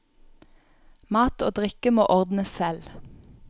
Mat og drikke må ordnes selv.